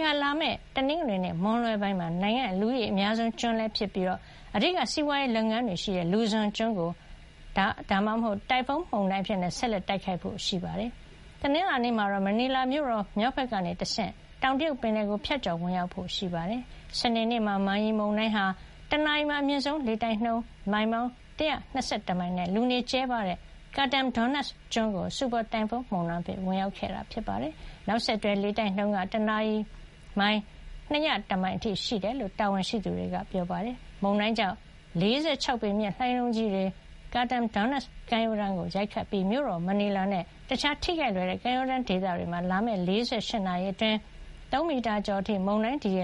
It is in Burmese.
ဟာ လာမယ့် တနင်္ဂနွေနေ့ မွန်းလွဲပိုင်းမှာတော့ နိုင်ငံရဲ့ လူဦးရေအများဆုံးကျွန်းလည်း ဖြစ်၊ အဓိက စီးပွားရေး လုပ်ငန်းတွေလည်း ရှိတဲ့ Luzon ကို စူပါတိုင်ဖွန်း ဒါမှမဟုတ် တိုင်ဖွန်းမုန်တိုင်း အဖြစ် ဆက်လက် တိုက်ခတ်ဖို့ ရှိပြီး တနင်္လာနေ့မှာတော့ မနီလာမြို့တော် မြောက်ဘက်က တဆင့် တောင်တရုတ်ပင်လယ်ကို ဖြတ်ကျော်ဝင်ရောက်ဖို့ ရှိနေပါတယ်။ စနေနေ့မှာတော့ Man-yi မုန်တိုင်းဟာ ၁ နာရီမှာ အမြင့်ဆုံးလေတိုက်နှုန်း ၁၉၅ ကီလိုမီတာ နှုန်းနဲ့ လူနေကျဲပါးတဲ့ Catanduanes ကျွန်းကို စူပါတိုင်ဖွန်း မုန်တိုင်းအဖြစ် ဝင်ရောက်ခဲ့တာပါ။ နောက်ဆက်တွဲ လေတိုက်နှုန်းက ၁ နာရီမှာ ၃၂၅ ကီလိုမီတာ အထိရှိကြောင်း ဖိလစ်ပိုင် တာဝန်ရှိသူတွေက ပြောပါတယ်။ မုန်တိုင်းကြောင့် ၁၄ မီတာ မြင့်တဲ့ လှိုင်းလုံးကြီးတွေဟာ Catanduanes ကမ်းရိုးတန်းကို ရိုက်ခတ်ခဲ့ပြီး မြို့တော် မနီလာနှင့် အခြား ထိခိုက်လွယ်တဲ့ ကမ်းရိုးတန်းဒေသတွေမှာ လာမယ့် ၄၈ နာရီအတွင်း ၃ မီတာကျော်အထိ မုန်တိုင်းဒီရ